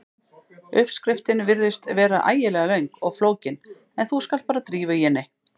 Uppskriftin virðist vera ægilega löng og flókin en þú skalt bara drífa í henni.